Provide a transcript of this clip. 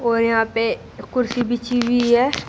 और यहां पे कुर्सी बिछी हुई है।